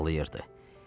Uşaq ağlayırdı.